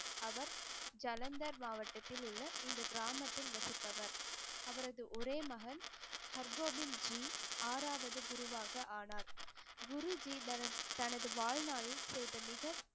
அவர் ஜலந்தர் மாவட்டத்தில் உள்ள இந்த கிராமத்தில் வசிப்பவர் அவரது ஒரே மகன் ஹர்கோபிந்த்ஜி ஆறாவது குருவாக ஆனார் குருஜி தரன் தனது வாழ்நாளில் செய்த மிக